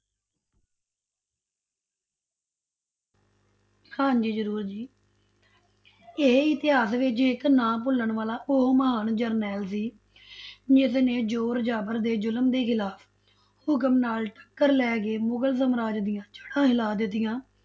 ਹਾਂਜੀ ਜ਼ਰੂਰ ਜੀ ਇਹ ਇਤਹਾਸ ਵਿੱਚ ਇੱਕ ਨਾ ਭੁੱਲਣ ਵਾਲਾ ਉਹ ਮਹਾਨ ਜਰਨੈਲ ਸੀ ਜਿਸ ਨੇ ਜ਼ੋਰ ਜ਼ਾਬਰ ਦੇ ਜ਼ੁਲਮ ਦੇ ਖਿਲਾਫ਼ ਹੁਕਮ ਨਾਲ ਟੱਕਰ ਲੈ ਕੇ ਮੁਗਲ ਸਮਰਾਜ ਦੀਆਂ ਜੜ੍ਹਾਂ ਹਿਲਾ ਦਿੱਤੀਆਂ,